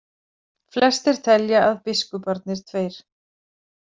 Flestir telja að biskuparnir tveir.